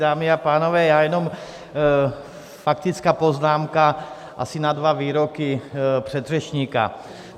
Dámy a pánové, já jenom faktická poznámka asi na dva výroky předřečníka.